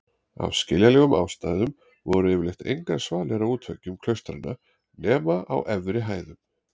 Af skiljanlegum ástæðum voru yfirleitt engar svalir á útveggjum klaustranna nema á efri hæðum.